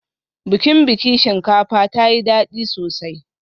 Bikin biki shinkafa tayi dadi sosai